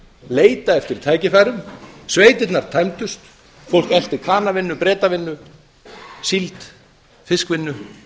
leita eftir tækifærum sveitirnar tæmdust fólk elti kanavinnu bretavinnu síld fiskvinnu